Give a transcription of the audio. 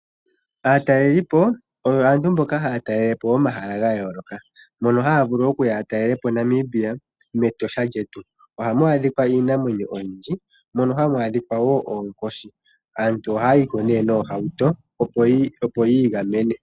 Aatalelipo oyo aantu mboka haya talelepo omahala gayoloka. Mono haya vulu okuya ya talelepo Namibia mEtosha lyetu. Oha mu adhikwa iinamwenyo oyindji, mono hamu adhikwa wo oonkoshi. Aantu aantu ohaya yiko nee noohauto opo yi igamene.